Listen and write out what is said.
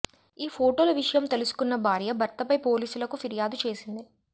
ఈ ఫోటోల విషయం తెలుసుకొన్న భార్య భర్తపై పోలీసులకు ఫిర్యాదు చేసింది